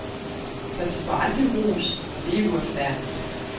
Så de får aldrig ros, og det er uretfærdigt.